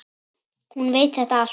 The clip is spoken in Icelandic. Hún veit þetta allt.